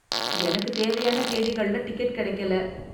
எனக்குத் தேவையான தேதிகள்ல டிக்கெட் கிடைக்கல